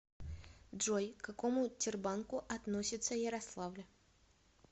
джой к какому тербанку относится ярославль